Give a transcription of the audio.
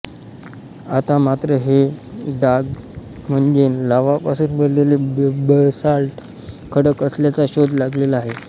आता मात्र हे डाग म्हणजे लाव्हा पासून बनलेले बसाल्ट खडक असल्याचा शोध लागलेला आहे